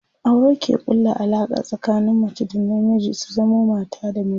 aure ke ƙulla Alaƙa tsakanin mace da na miji su zamo mata da miji